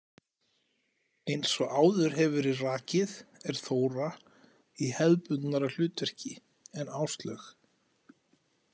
Eins og áður hefur verið rakið er Þóra í hefðbundnara hlutverki en Áslaug.